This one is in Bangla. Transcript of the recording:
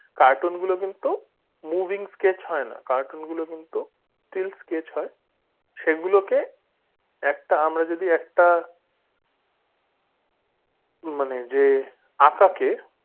cartoon গুলো কিন্তু moving scratch হয় না cartoon গুলো কিন্তু still scratch হয় সেগুলোকে একটা আমরা যদি একটা মানে যে আঁকাকে